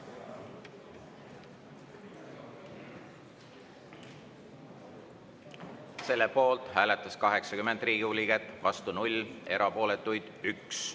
Selle poolt hääletas 80 Riigikogu liiget, vastu 0, erapooletuid 1.